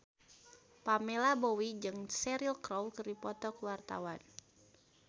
Pamela Bowie jeung Cheryl Crow keur dipoto ku wartawan